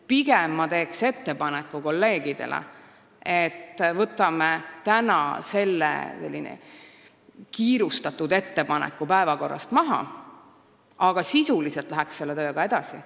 Ma teen kolleegidele ettepaneku võtta see kiirustades tehtud ettepanek päevakorrast maha, aga minna selle tööga sisuliselt edasi.